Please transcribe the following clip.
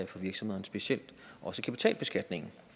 for virksomhederne specielt også kapitalbeskatningen